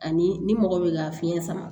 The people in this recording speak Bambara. Ani ni mɔgɔ bɛ ka fiɲɛ sama